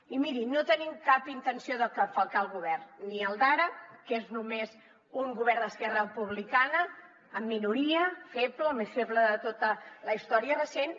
i miri no tenim cap intenció de falcar el govern ni el d’ara que és només un govern d’esquerra republicana amb minoria feble el més feble de tota la història recent